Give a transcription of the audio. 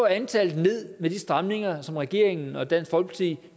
antallet ned med de stramninger som regeringen og dansk folkeparti